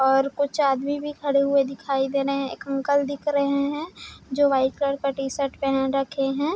और कुछ आदमी भी खड़े हुए दिखाई दे रहे हैं एक अंकल भी दिखाई दे रहे है जो वाइट कलर का टी शर्ट पहन रखे हैं।